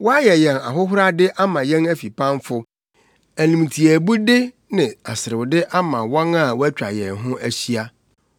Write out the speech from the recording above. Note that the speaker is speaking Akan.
Woayɛ yɛn ahohorade ama yɛn afipamfo, animtiaabude ne aserewde ama wɔn a wɔatwa yɛn ho ahyia.